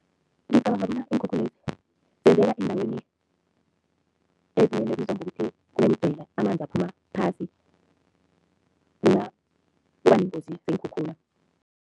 Ngicabanga bona iinkhukhulezi zenzeka eendaweni ebizwa ngokuthi kunemidzwela, amanzi aphuma phasi kula kuba neengozi zeenkhukhula.